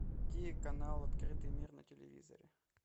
найди канал открытый мир на телевизоре